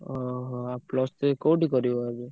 ଓହୋ! ଆଉ plus three କୋଉଠି କରିବ?